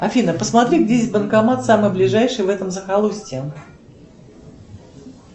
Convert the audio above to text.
афина посмотри где здесь банкомат самый ближайший в этом захолустье